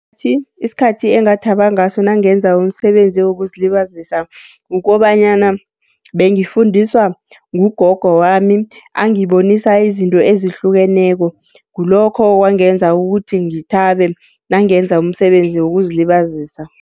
Kuthi isikhathi engathaba ngaso nangenza umsebenzi wokuzilibazisa kukobanyana bengifundiswa ngugogo wami, angibonisa izinto ezihlukeneko. Kulokho okwangenza ukuthi ngithabe, nangenza umsebenzi wokuzilibazisa.